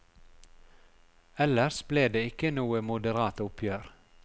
Ellers ble det ikke noe moderat oppgjør.